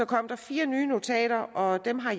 kom fire nye notater og dem har